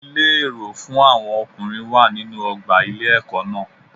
Ilé èrò fún àwọn ọkùnrin wà nínú ọgbà ilé ẹkọ náà.